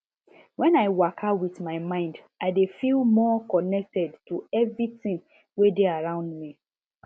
when i waka with my mind i dey feel more connected to everything wey dey around me